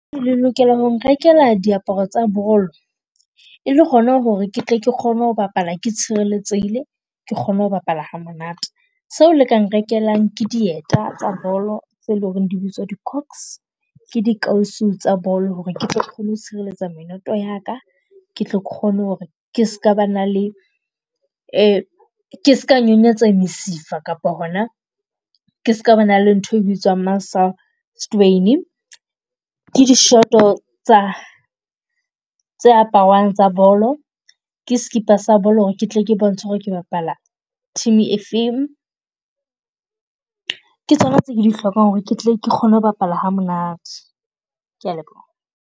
Le lokela ho nrekela diaparo tsa balo e le hona ho re ke tle ke kgone ho bapala ke tshireletsehile, ke kgone ho bapala ha monate. Seo le ka nrekelang ke dieta tsa bolo tse leng ho re di bitswa di cox, ke di kausi tsa balo ho re tle ke kgone ho sireletsa menoto ya ka. Ke tle ke kgone ho re ke ska ba na le , ke ska nonyetseha mesifa kapa ho na ke ska ba na le nthwe e bitswang muscle strain-i. Ke dishoto tsa tse aparwang tsa bolo, ke skipa sa bolo ho re ke tle ke bontshe ho re ke bapala team e feng. Ke tsona tse ke di hlokang ho re ketle ke kgone ho bapala ha monate, ke a leboha.